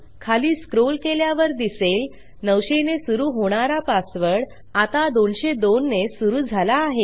खाली स्क्रोल केल्यावर दिसेल 900 ने सुरू होणारा पासवर्ड आता 202 ने सुरू झाला आहे